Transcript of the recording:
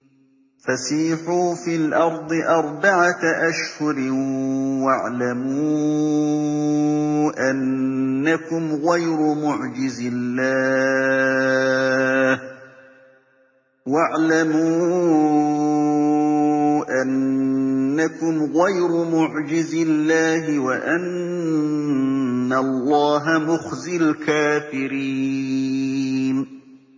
فَسِيحُوا فِي الْأَرْضِ أَرْبَعَةَ أَشْهُرٍ وَاعْلَمُوا أَنَّكُمْ غَيْرُ مُعْجِزِي اللَّهِ ۙ وَأَنَّ اللَّهَ مُخْزِي الْكَافِرِينَ